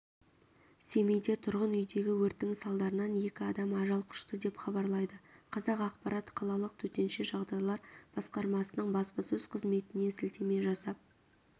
семейде тұрғын үйдегі өрттің салдарынан екі адам ажал құшты деп хабарлайды қазақпарат қалалық төтенше жағдайлар басқармасының баспасөз қызметіне сілтеме жасап